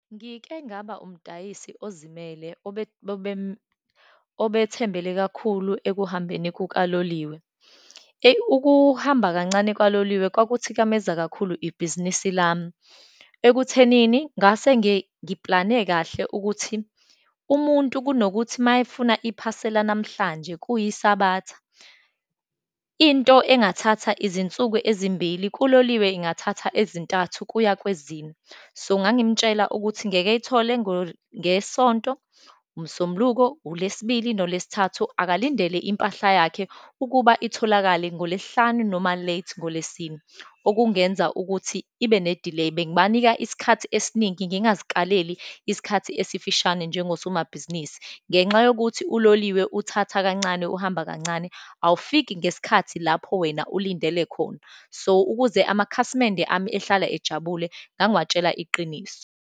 Ngike ngaba umdayisi ozimele obethembele kakhulu ekuhambeni kaloliwe. Eyi, ukuhamba kancane kaloliwe kwakuthikameza kakhulu ibhizinisi lami, ekuthenini ngase ngiplane kahle ukuthi, umuntu kunokuthi uma efuna iphasela namhlanje kuyiSabatha, into engathatha izinsuku ezimbili, kuloliwe ingathatha ezintathu kuya kwezine. So, ngangimtshela ukuthi ngeke eyithole ngeSonto, uMsombuluko, uLesibili noLesithathu, akalindele impahla yakhe ukuba itholakale ngoLesihlanu, noma late ngoLesine, okungenza ukuthi ibe ne-delay. Bengibanika isikhathi esiningi ngingazikaleli isikhathi esifishane njengosomabhizinisi, ngenxa yokuthi uloliwe uthatha kancane, uhamba kancane, awufiki ngesikhathi lapho wena ulindele khona. So, ukuze amakhasimende ami ehlala ejabule, ngangiwatshela iqiniso.